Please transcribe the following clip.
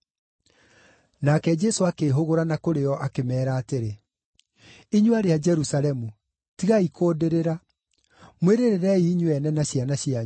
Nake Jesũ akĩĩhũgũra na kũrĩ o, akĩmeera atĩrĩ, “Inyuĩ aarĩ a Jerusalemu, tigai kũndĩrĩra; mwĩrĩrĩrei inyuĩ ene na ciana cianyu.